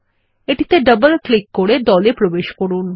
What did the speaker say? এটিতে double click করে দল এ প্রবেশ করুন